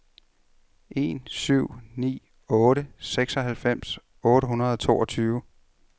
en syv ni otte seksoghalvfems otte hundrede og toogtyve